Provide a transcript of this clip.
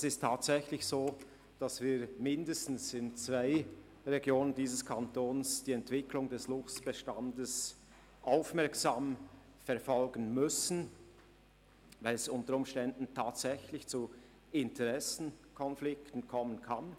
Es ist tatsächlich so, dass wir mindestens in zwei Regionen dieses Kantons die Entwicklung des Luchsbestands aufmerksam verfolgen müssen, weil es unter Umständen tatsächlich zu Interessenkonflikten kommen kann.